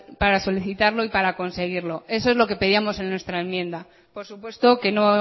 para solicitar y para conseguirlo eso es lo que pedíamos en nuestra enmienda por supuesto que no